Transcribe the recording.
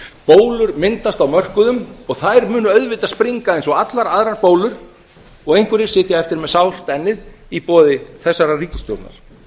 bólur myndast á mörkuðum og þær munu auðvitað springa eins og allar aðrar bólur og einhverjir sitja eftir með sárt ennið í boði þessarar ríkisstjórnar